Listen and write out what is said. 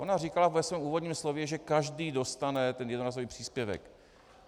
Ona říkala ve svém úvodním slově, že každý dostane ten jednorázový příspěvek.